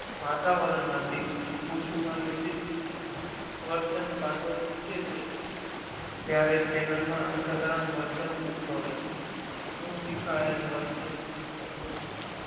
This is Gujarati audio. વાતાવરણ માંથી ખુશુમાં યોજિત વર્તન ભાતો શીખે છે ત્યારે તેના માં અસાધારણ વર્તન ઉદ્ભવે છે જો સીખાયેલ વર્તનાભાતો નું